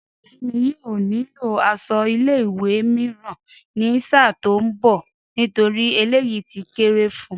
Dárasími yóò nílò aṣọ ilé ìwé mìíràn ní sáà tó ń bọ̀ nítorí eléyìí ti kéré fun